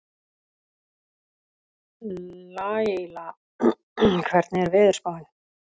Laíla, hvernig er veðurspáin?